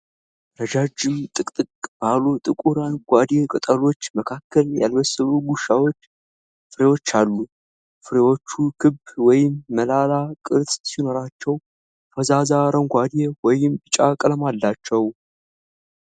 ረጃጅም፣ ጥቅጥቅ ባሉ ጥቁር አረንጓዴ ቅጠሎች መካከል ያልበሰሉ ጉዋቫ ፍሬዎች አሉ። ፍሬዎቹ ክብ ወይም ሞላላ ቅርፅ ሲኖራቸው ፈዛዛ አረንጓዴ ወይም ቢጫ ቀለም አላቸው።